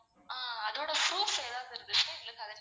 ஆஹ் அதோட proof ஏதாவது இருந்துச்சுனா எங்களுக்கு அனுப்புங்க